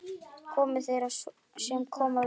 Komi þeir sem koma vilja